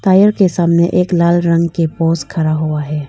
Tyre के सामने एक लाल रंग का पोस खड़ा हुआ है।